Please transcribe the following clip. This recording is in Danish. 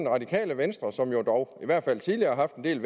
radikale venstre som jo dog i hvert fald tidligere har haft en del